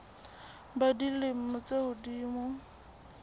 ba dilemo tse ka hodimo